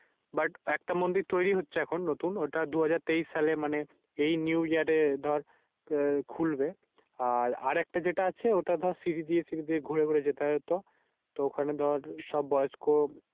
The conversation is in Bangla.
But একটা মন্দির তৈরি হয়েছে এখন নতুন। ওটা দুই হাজার তেইশ সালে মানি এই New year এ দর খুলবে। আর একটা যেটা আছে ওটা দর সিরি দিয়ে সিরি দিয়ে ঘুরে ঘুরে যেতে হয়। তো ওখানে দর সব বয়স্ত